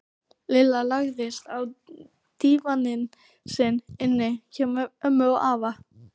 Lilla lagðist á dívaninn sinn inni hjá ömmu og afa.